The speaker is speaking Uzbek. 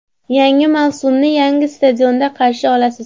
Yangi mavsumni yangi stadionda qarshi olasiz.